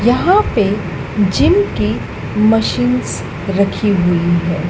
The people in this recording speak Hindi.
यहां पे जिम की मशीनस रखी हुई हैं।